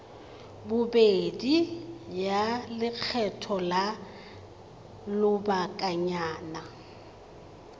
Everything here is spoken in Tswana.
bobedi ya lekgetho la lobakanyana